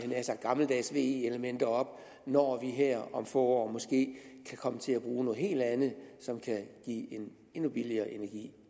nær sagt gammeldags ve elementer op når vi her om få år måske vil komme til at bruge noget helt andet som kan give en endnu billigere energi